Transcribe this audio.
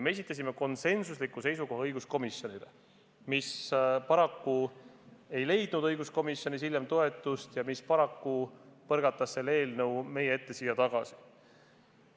Me esitasime oma konsensusliku seisukoha ka õiguskomisjonile, aga paraku ei leidnud see õiguskomisjonis toetust ja paraku põrgatati see eelnõu siia meie ette tagasi.